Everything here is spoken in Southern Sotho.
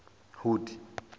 hood